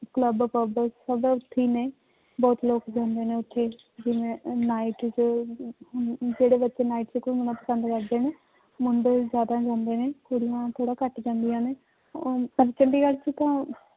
Club pub ਸਭ ਉੱਥੇ ਹੀ ਨੇ ਬਹੁਤ ਲੋਕ ਜਾਂਦੇ ਨੇ ਉੱਥੇ ਜਿਵੇਂ ਉਹ night ਚ ਜਿਹੜੇ ਬੱਚੇ night ਚ ਘੁੰਮਣਾ ਪਸੰਦ ਕਰਦੇ ਨੇ, ਮੁੰਡੇ ਜ਼ਿਆਦਾ ਜਾਂਦੇ ਨੇ, ਕੁੜੀਆਂ ਥੋੜ੍ਹਾ ਘੱਟ ਜਾਂਦੀਆਂ ਨੇ ਔਰ ਚ ਤਾਂ